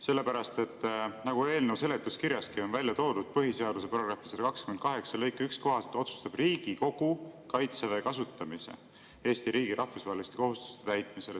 Sellepärast, et nagu eelnõu seletuskirjas on välja toodud, põhiseaduse § 128 lõike 1 kohaselt otsustab Riigikogu Kaitseväe kasutamise Eesti riigi rahvusvaheliste kohustuste täitmisel.